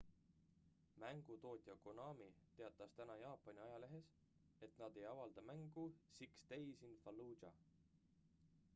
mängutootja konami teatas täna jaapani ajalehes et nad ei avalda mängu six days in fallujah